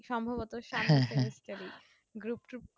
group টুপ্ study